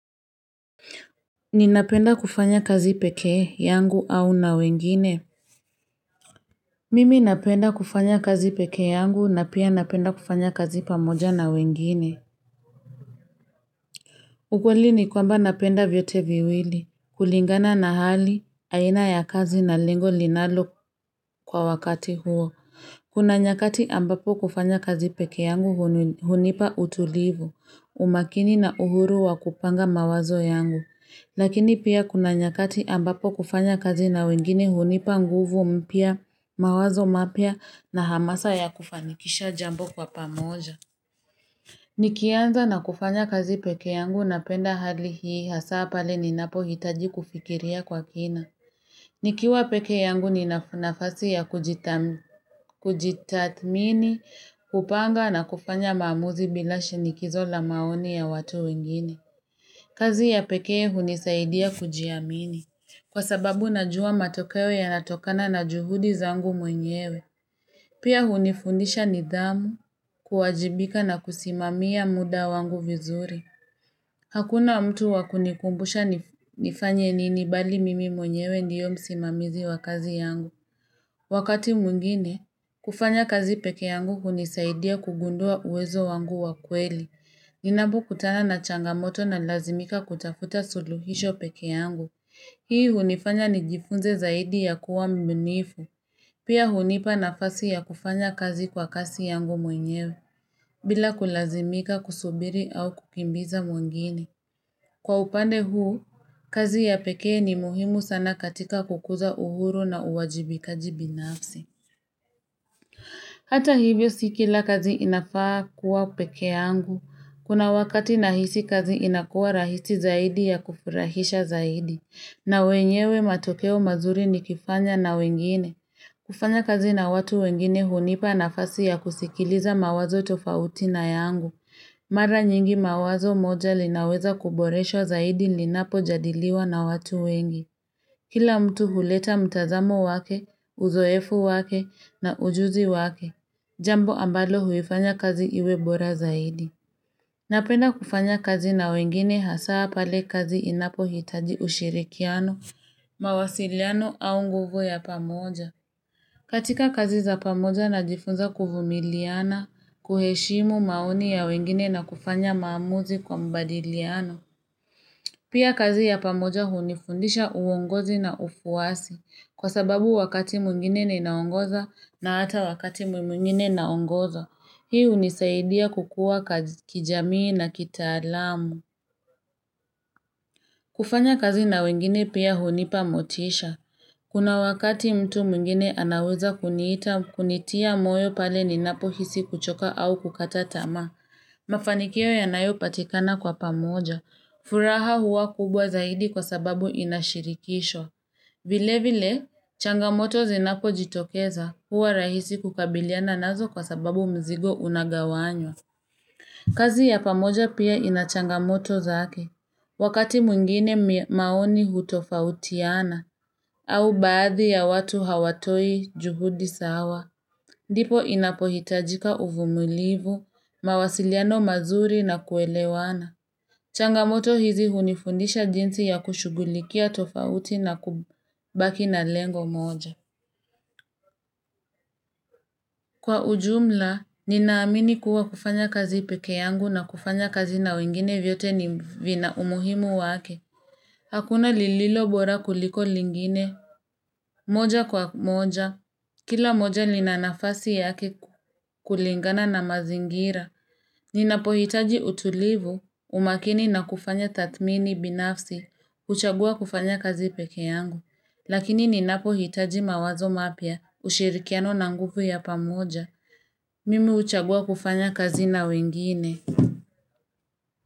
Ninapenda kufanya kazi peke yangu au na wengine? Mimi napenda kufanya kazi peke yangu na pia napenda kufanya kazi pamoja na wengine. Ukweli ni kwamba napenda vyote viwili. Kulingana na hali, aina ya kazi na lengo ninalo kwa wakati huo. Kuna nyakati ambapo kufanya kazi pekee yangu hunipa utulivu. Umakini na uhuru wa kupanga mawazo yangu. Lakini pia kuna nyakati ambapo kufanya kazi na wengine hunipa nguvu mpya, mawazo mapya na hamasa ya kufanikisha jambo kwa pamoja. Nikianza na kufanya kazi peke yangu napenda hali hii hasa pale ninapohitaji kufikiria kwa kina. Nikiwa peke yangu nina nafasi ya kujitathmini, kupanga na kufanya maamuzi bila shinikizo la maoni ya watu wengine. Kazi ya pekee hunisaidia kujiamini. Kwa sababu najua matokeo yanatokana na juhudi zangu mwenyewe. Pia hunifundisha nidhamu, kuwajibika na kusimamia muda wangu vizuri. Hakuna mtu wa kunikumbusha nifanye nini, bali mimi mwenyewe ndiyo msimamizi wa kazi yangu. Wakati mwingine, kufanya kazi peke yangu hunisaidia kugundua uwezo wangu wa kweli. Ninapokutana na changamoto nalazimika kutafuta suluhisho peke yangu Hii hunifanya nijifunze zaidi ya kuwa mbunifu. Pia hunipa nafasi ya kufanya kazi kwa kasi yangu mwenyewe bila kulazimika kusubiri au kukimbiza mwengine Kwa upande huu, kazi ya pekee ni muhimu sana katika kukuza uhuru na uwajibikaji binafsi Hata hivyo si kila kazi inafaa kuwa peke yangu. Kuna wakati nahisi kazi inakuwa rahisi zaidi ya kufurahisha zaidi, na wenyewe matokeo mazuri nikifanya na wengine. Kufanya kazi na watu wengine hunipa nafasi ya kusikiliza mawazo tofauti na yangu. Mara nyingi, wazo moja linaweza kuboreshwa zaidi linapojadiliwa na watu wengi. Kila mtu huleta mtazamo wake, uzoefu wake na ujuzi wake. Jambo ambalo huifanya kazi iwe bora zaidi. Napenda kufanya kazi na wengine hasa pale kazi inapohitaji ushirikiano, mawasiliano au nguvu ya pamoja. Katika kazi za pamoja najifunza kuvumiliana, kuheshimu maoni ya wengine na kufanya maamuzi kwa mbadiliano. Pia kazi ya pamoja hunifundisha uongozi na ufuasi, kwa sababu wakati mwingine ninaongoza na hata wakati mwingine naongozwa. Hii hunisaidia kukua kijamii na kitaalamu. Kufanya kazi na wengine pia hunipa motisha. Kuna wakati mtu mwingine anaweza kunitia moyo pale ninapohisi kuchoka au kukata tamaa. Mafanikio yanayopatikana kwa pamoja. Furaha huwa kubwa zaidi kwa sababu ina shirikisho. Vile vile, changamoto zinakojitokeza huwa rahisi kukabiliana nazo kwa sababu mzigo unagawanywa. Kazi ya pamoja pia ina changamoto zake. Wakati mwingine, maoni hutofautiana au baadhi ya watu hawatoi juhudi sawa. Ndipo inapohitajika uvumulivu, mawasiliano mazuri na kuelewana. Changamoto hizi hunifundisha jinsi ya kushugulikia tofauti na kubaki na lengo moja. Kwa ujumla, ninaamini kuwa kufanya kazi peke yangu na kufanya kazi na wengine vyote vina umuhimu wake. Hakuna lililo bora kuliko lingine, moja kwa moja. Kila moja lina nafasi yake kulingana na mazingira. Ninapohitaji utulivu, umakini na kufanya tathmini binafsi huchagua kufanya kazi peke yangu. Lakini ninapohitaji mawazo mapya, ushirikiano na nguvu ya pamoja mimi huchagua kufanya kazi na wengine.